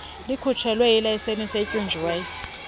likhutshelwe ilayiseni otyunjwe